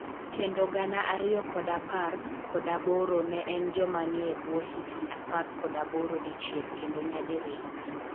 Kendo gana ariyo kod apar kod aboro ne en jomanie ebwo higni apar kod aboro dichiel kendo nyadi riyo